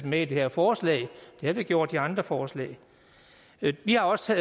med i det her forslag det har vi gjort i de andre forslag vi har også